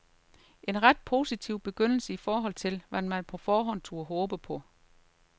En ret positiv begyndelse i forhold til, hvad man på forhånd turde håbe på.